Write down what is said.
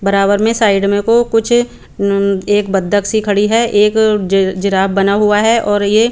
बराबर में साइड में को कुछ उम्म एक बतख सी खड़ी है एक जे जिराफ बना हुआ है और यह--